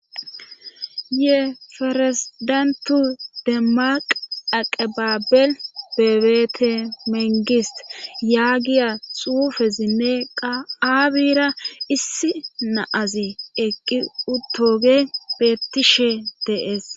Ye faresidantu demaq aqabaabel bebeete mengis yaagiya xuufezinne qa7aabira issi naazi eqqi uttoge beettishe dees.